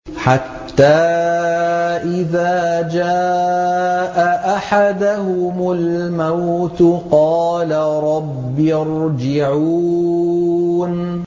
حَتَّىٰ إِذَا جَاءَ أَحَدَهُمُ الْمَوْتُ قَالَ رَبِّ ارْجِعُونِ